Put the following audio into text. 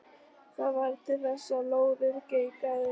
Það varð til þess að lóðið geigaði.